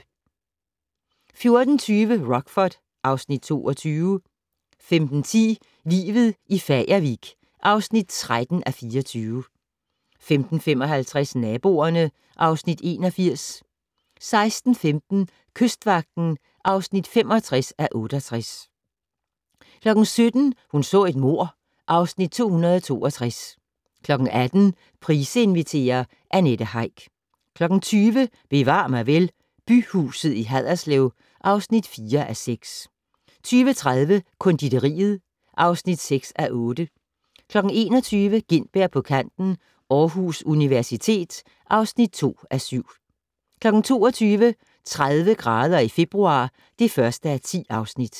14:20: Rockford (Afs. 22) 15:10: Livet i Fagervik (13:24) 15:55: Naboerne (Afs. 81) 16:15: Kystvagten (65:68) 17:00: Hun så et mord (Afs. 262) 18:00: Price inviterer - Annette Heick 20:00: Bevar mig vel: Byhuset i Haderslev (4:6) 20:30: Konditoriet (6:8) 21:00: Gintberg på kanten - Aarhus Universitet (2:7) 22:00: 30 grader i februar (1:10)